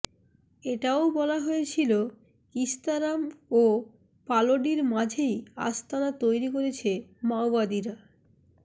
এটাও বলা হয়েছিল কিস্তারাম ও পালোডির মাঝেই আস্তানা তৈরি করেছে মাওবাদীরা